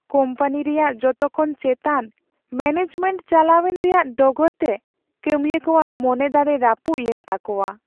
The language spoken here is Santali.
ᱠᱳᱢᱯᱟᱱᱤ ᱨᱮᱭᱟᱜ ᱡᱚᱛᱚᱠᱷᱚᱱ ᱪᱮᱛᱟᱱ ᱢᱮᱹᱱᱮᱡᱢᱮᱱᱴ ᱪᱟᱞᱟᱣᱮᱱ ᱨᱮᱭᱟᱜ ᱰᱚᱜᱚᱨᱛᱮ ᱠᱟᱹᱢᱤᱭᱟᱹ ᱠᱚᱣᱟᱜ ᱢᱚᱱᱮ ᱫᱟᱲᱮ ᱨᱟᱹᱯᱩᱫ ᱞᱮᱱ ᱛᱟᱠᱚᱣᱟ ᱾